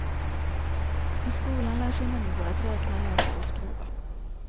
I skolan lär sig människor att räkna, läsa och skriva.